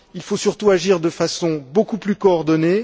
Il faut surtout agir de façon beaucoup plus coordonnée.